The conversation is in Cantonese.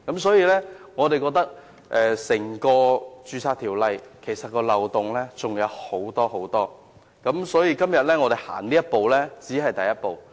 所以，我們認為《條例》還有很多漏洞，而我們今天只是踏出修補漏洞的第一步。